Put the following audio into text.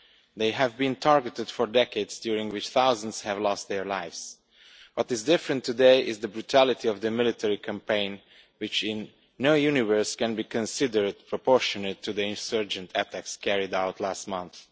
They have been targeted for decades, during which thousands have lost their lives. What is different today is the brutality of the military campaign, which in no universe can be considered proportionate to the insurgent attacks carried out last month.